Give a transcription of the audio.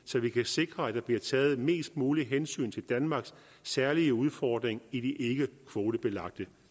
så vi kan sikre at der bliver taget mest muligt hensyn til danmarks særlig udfordring i de ikkekvotebelagte